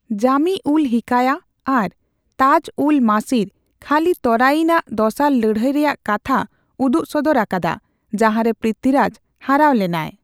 ᱡᱟᱢᱤᱼᱩᱞᱼᱦᱤᱠᱟᱭᱟ ᱟᱨ ᱛᱟᱡᱼᱩᱞᱼᱢᱟᱥᱤᱨ ᱠᱷᱟᱹᱞᱤ ᱛᱚᱨᱟᱭᱤᱱ ᱟᱜ ᱫᱚᱥᱟᱨ ᱞᱟᱹᱲᱦᱟᱹᱭ ᱨᱮᱭᱟᱜ ᱠᱟᱛᱷᱟ ᱩᱫᱩᱜᱥᱚᱫᱚᱨ ᱟᱠᱟᱫᱟ, ᱡᱟᱦᱟᱸᱨᱮ ᱯᱤᱛᱷᱤᱨᱟᱡᱽ ᱦᱟᱨᱟᱣ ᱞᱮᱱᱟᱭ ᱾